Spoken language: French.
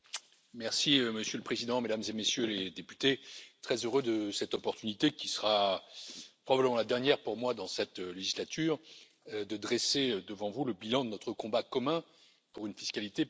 Monsieur le Président, Mesdames et Messieurs les députés, je suis très heureux de cette opportunité, qui sera probablement la dernière pour moi, dans cette législature, de dresser devant vous le bilan de notre combat commun pour une fiscalité plus juste.